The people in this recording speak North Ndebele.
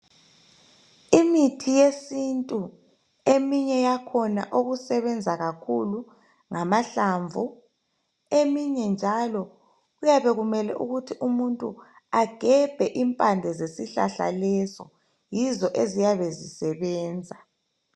Imithi yesintu eminye yakhona okusebenza kakhulu ngamahlamvu eminye njalo kuyabe kumele ukuthi umuntu agebhe impande zesihlahla leso yizo eziyabe zisebenza.